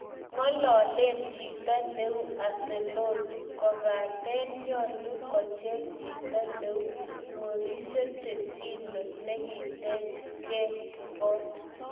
Ngololen chito neu Ancelotti kopaten nyolu kocheng chito neu Mauricio Pochetinno nekitech ke kot.